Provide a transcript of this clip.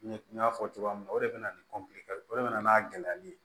Ɲɛ n y'a fɔ cogoya min na o de bɛna ni o de bɛ na n'a gɛlɛyali ye